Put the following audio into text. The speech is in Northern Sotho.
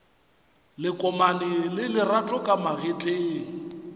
lekomane la lerato ka magetleng